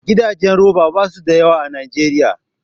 Gidajen roba basu da yawa a Najeriya